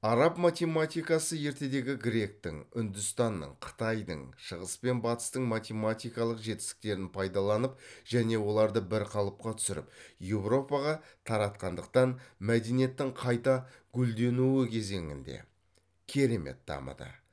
араб математикасы ертедегі гректің үндістанның қытайдың шығыс пен батыстың математикалық жетістіктерін пайдаланып және оларды бір қалыпқа түсіріп еуропаға таратқандықтан мәдениеттің қайта гүлденуі кезеңінде математика керемет дамыды